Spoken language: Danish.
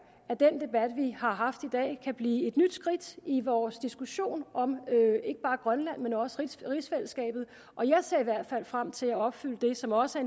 at den debat vi har haft i dag kan blive et nyt skridt i vores diskussion om ikke bare grønland men også om rigsfællesskabet og jeg ser i hvert fald frem til at opfylde det som også